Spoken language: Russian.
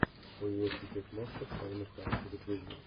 университет монстров с сальмой хайек загрузи